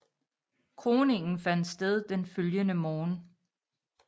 Kroningen fandt sted den følgende morgen